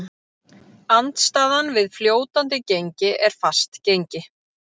Andstaðan við fljótandi gengi er fast gengi.